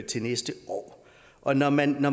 til næste år og når man